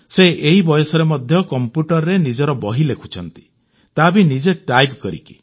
ସେ ଏହି ବୟସରେ ମଧ୍ୟ କଂପ୍ୟୁଟରରେ ନିଜର ବହି ଲେଖୁଛନ୍ତି ତା ବି ନିଜେ ଟାଇପ୍ କରିକି